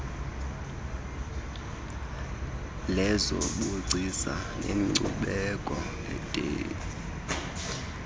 lezobugcisa nenkcubeko dac